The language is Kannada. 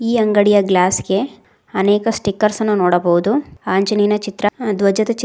ಈ ಅಂಗಡಿಯ ಗ್ಲಾಸ್ ಗೆ ಅನೇಕ ಸ್ಟಿಕ್ಕರ್ಸ್ ಅನ್ನು ನೋಡಬಹುದು ಅಂಜೇನಯನ ಚಿತ್ರ ಧ್ವಜದ ಚಿತ್ರ--